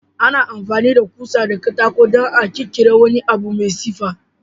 Ana amfani da ƙusa da katako dan a kirkire wani abu mai siffa.